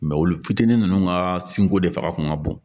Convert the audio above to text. olu fitinin nunnu ka sinko de fanga kun ka bon